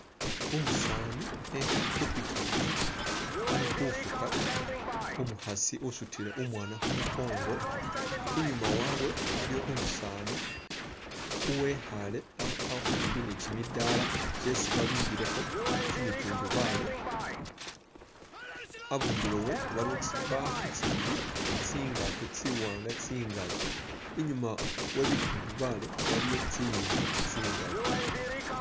Umusaani ekhaale khu pikipiki ali khufuga umukhasi usutile umwaana khu mukongo. Inyuma wabwe waliwo umusaani uwikhaale akhwimbi ni kimidaala kyesi babimbilekho kimitundubali, abundulo we waliwo tsibaafu tsibili ni tsingaato tsiwaanga tsingali. Inyuma webitundubali waliwo tsinzu tsingali.